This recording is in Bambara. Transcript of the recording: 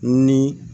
Ni